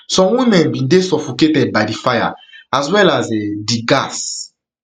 some women bin dey suffocated by di fire as well as um di um gas